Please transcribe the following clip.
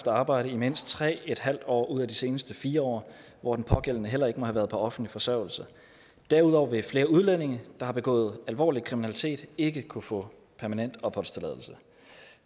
arbejde i mindst tre en halv år ud af de seneste fire år hvor den pågældende heller ikke må have været på offentlig forsørgelse derudover vil flere udlændinge der har begået alvorlig kriminalitet ikke kunne få permanent opholdstilladelse